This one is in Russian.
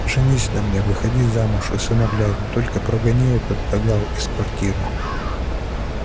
женись на мне выходи замуж усыновляй но только прогони этот кагал из квартиры